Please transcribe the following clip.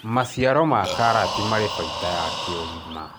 maciaro ma karoti mari baida ya kĩũgima